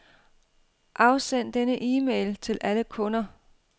Afsend denne e-mail til alle kunder.